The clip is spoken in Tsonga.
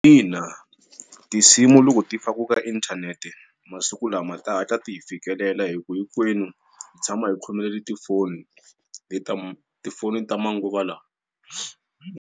Ina, tinsimu loko ti fakiwa ka inthanete masiku lama ta hatla ti hi fikelela hikuva hikwenu hi tshama hi khomelele tifoni hi tama tifoni ta manguva lawa.